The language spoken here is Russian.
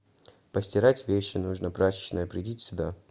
постирать вещи нужно прачечная придите сюда